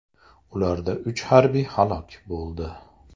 Ularda uch harbiy halok bo‘ldi.